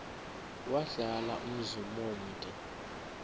wahlala umzum omde